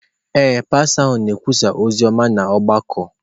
Ee, pastọ ahụ na-ekwusa ozi ọma n’ọgbakọ